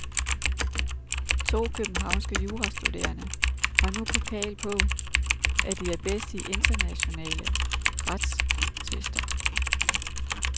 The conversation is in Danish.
To københavnske jurastuderende har nu pokal på, at de er bedst i internationale retstvister.